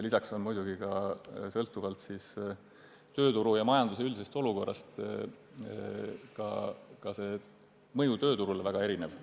Lisaks võib tööturule avaldatav mõju oleneda ka tööturu ja majanduse üldisest olukorrast.